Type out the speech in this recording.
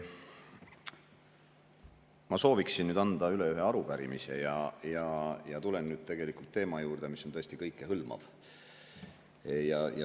Ma sooviksin anda üle ühe arupärimise ja tulen teema juurde, mis on tõesti kõikehõlmav.